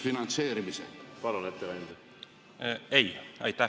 Ma palun ettekandjat vastata.